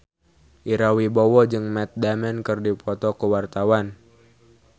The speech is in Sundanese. Ira Wibowo jeung Matt Damon keur dipoto ku wartawan